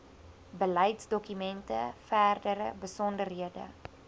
beleidsdokumente verdere besonderhede